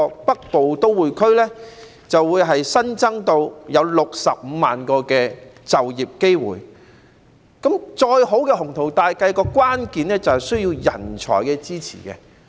北部都會區將來會新增65萬個就業機會，再好的雄圖大計，關鍵在於人才支持。